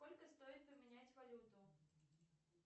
сколько стоит поменять валюту